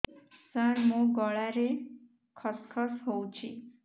ସାର ମୋ ଗଳାରେ ଖସ ଖସ ହଉଚି